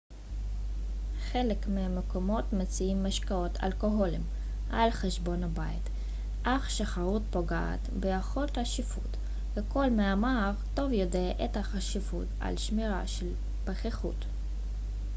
חלק מהמקומות מציעים משקאות אלכוהוליים על חשבון הבית אך שכרות פוגעת ביכולת השיפוט וכל מהמר טוב יודע את החשיבות של שמירה על פיכחות